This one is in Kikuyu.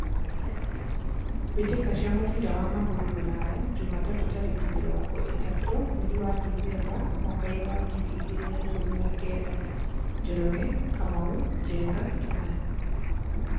Mbĩtĩka cia mũbira wa magũrũ Ruraya Jumatatũ tarĩki mĩrongo ĩtatũ mweri wa Dithemba mwakainĩ wa ngiri igĩrĩ na ikũmi na kenda:Njoroge, Kamau, Njenga, Kimani.